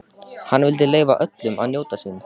Hann vildi leyfa öllum að njóta sín.